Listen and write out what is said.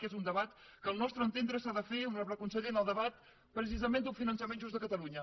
que és un debat que al nostre entendre s’ha de fer honorable conseller en el debat precisament d’un finançament just de catalunya